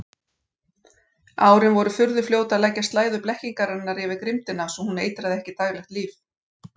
Árin voru furðufljót að leggja slæðu blekkingarinnar yfir grimmdina svo hún eitraði ekki daglegt líf.